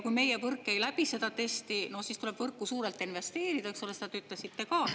Kui meie võrk ei läbi testi, siis tuleb võrku suurelt investeerida, seda ütlesite ka.